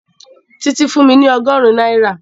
Títí fún mi ọgọ́rùn-ún náírà